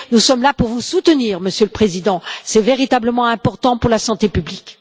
Nous sommes là pour vous soutenir, Monsieur le Commissaire. C'est véritablement important pour la santé publique.